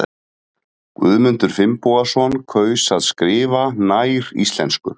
Guðmundur Finnbogason kaus að skrifa nær íslensku.